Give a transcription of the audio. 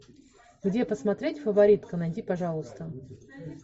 где посмотреть фаворитка найди пожалуйста